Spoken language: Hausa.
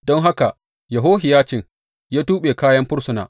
Don haka Yehohiyacin ya tuɓe kayan fursuna.